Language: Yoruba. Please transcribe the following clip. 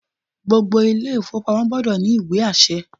Gbogbo ilé ìfowópamọ́ gbọdọ̀ ní ìwé àṣẹ